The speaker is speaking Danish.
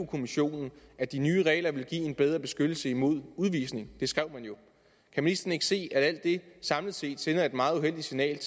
kommissionen at de nye regler ville give en bedre beskyttelse mod udvisning det skrev man jo kan ministeren ikke se at alt det samlet set sender et meget uheldigt signal